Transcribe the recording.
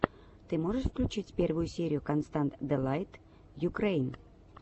ты можешь включить первую серию констант дэлайт юкрэйн